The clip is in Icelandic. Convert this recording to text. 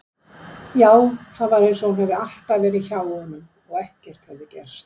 Já, það var einsog hún hefði alltaf verið hjá honum og ekkert hefði gerst.